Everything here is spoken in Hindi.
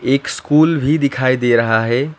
एक स्कूल भी दिखाई दे रहा है।